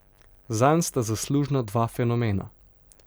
Zanj sta zaslužna dva fenomena.